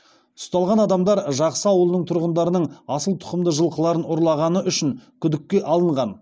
ұсталған адамдар жақсы ауылының тұрғындарының асыл тұқымды жылқыларын ұрлағаны үшін күдікке алынған